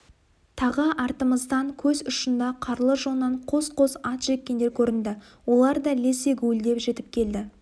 тағы артымыздан көз ұшында қарлы жоннан қос-қос ат жеккендер көрінді олар да лезде гуілдеп жетіп келді